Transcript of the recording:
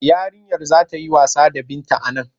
Yarinyar za ta yi wasa Binta a nan.